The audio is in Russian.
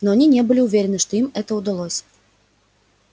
но они не были уверены что им это удалось